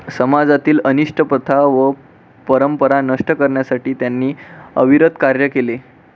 समाजातील अनिष्ट प्रथा व परंपरा नष्ट करण्यासाठी त्यांनी अविरत कार्य केले